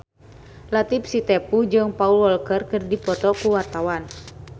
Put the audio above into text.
Latief Sitepu jeung Paul Walker keur dipoto ku wartawan